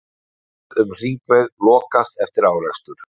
Umferð um hringveg lokaðist eftir árekstur